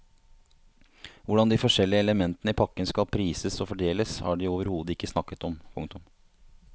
Hvordan de forskjellige elementene i pakken skal prises og fordeles har de overhodet ikke snakket om. punktum